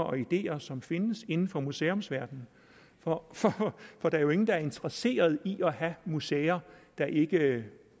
og ideer som findes inden for museumsverdenen for der er jo ingen der er interesseret i at have museer der ikke